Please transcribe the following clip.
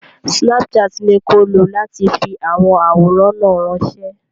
Snapchat ni ko lo láti fi àwọn àwòrán náà ránṣẹ́.